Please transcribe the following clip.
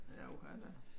Ja uha da